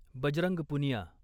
Bajrang Punia